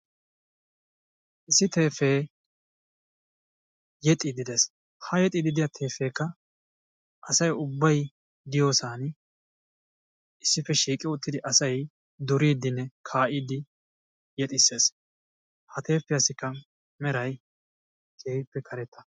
issi teeppee yexiidi des, ha teepeekka asay ubbay diyosan issippe shiiqi uttidi asay duriidinne kaa'iidi yexxisees, ha teepiyassikka meray keehippe karetta.